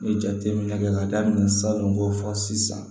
N ye jateminɛ kɛ ka daminɛ salon n b'o fɔ sisan